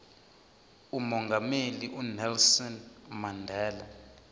umongameli unelson mandela